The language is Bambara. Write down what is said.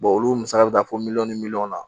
olu musaka bɛ taa fɔ miliyɔn ni miliyɔn na